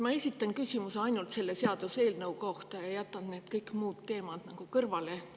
Ma esitan küsimuse ainult selle seaduseelnõu kohta ja jätan kõik muud teemad kõrvale.